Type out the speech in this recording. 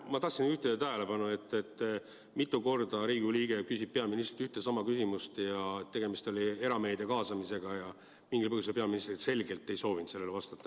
Ma tahtsin juhtida tähelepanu, et mitu korda Riigikogu liige küsib peaministrilt ühte ja sama küsimust, tegemist oli erameedia kaasamise teemaga, aga mingil põhjusel peaminister selgelt ei soovinud sellele vastata.